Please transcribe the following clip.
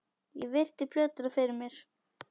Ég virti plötuna fyrir mér.